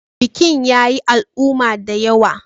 Bikin ya yi al'umma da yawa.